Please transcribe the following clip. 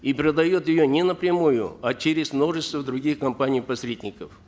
и продает ее не напрямую а через множество других компаний посредников